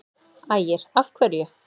Ægir: Af hverju?